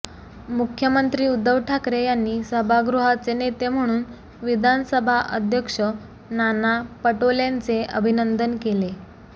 मुख्यंमत्री उद्धव ठाकरे यांनी सभागृहाचे नेते म्हणून विधानसभा अध्यक्ष नाना पटोलेंचे अभिनंदन केले